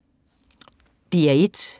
DR1